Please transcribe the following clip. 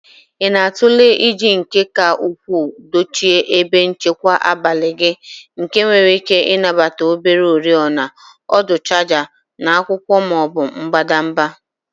Ị na-atụle iji nke ka ukwuu dochie ebe nchekwa abalị gị nke nwere ike ịnabata obere oriọna, ọdụ chaja na akwụkwọ ma ọ bụ mbadamba.